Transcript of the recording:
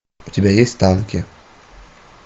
у тебя есть танки